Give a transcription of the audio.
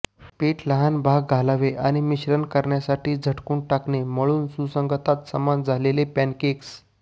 पीठ लहान भाग घालावे आणि मिश्रण करण्यासाठी झटकून टाकणे मळून सुसंगतता समान झाले पॅनकेक्स